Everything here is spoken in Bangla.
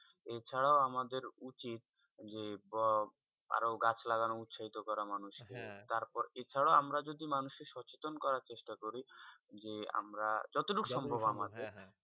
এর ছাড়া আমাদের উচিত আরও গাছ লাগানো উচ্ছেতো করে মানুষ কে তার পরে এই ছাড়া আমরা যদি মানুষ সোচিতন করা চেষ্টা করি যে আমরা যত ঠুক সম্ভব আমাদের থেকে